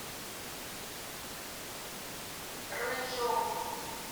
рыжов